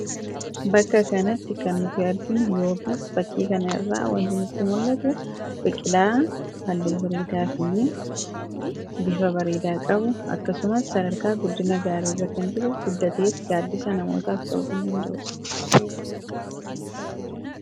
bakka kanatti kan nuti arginu yookiis fakkii kana irra wanti nutti mul'atu biqilaa halluu bareedaa fi bifa bareedaa qabu akkasumas sarara guddina gaarii irra kan jiru ,guddatees gaaddisa namootaaf ta'uu kan danda'udha.